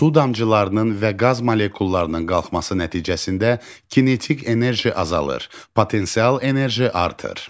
Su damcılarının və qaz molekullarının qalxması nəticəsində kinetik enerji azalır, potensial enerji artır.